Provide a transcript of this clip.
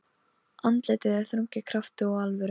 Elvi, einhvern tímann þarf allt að taka enda.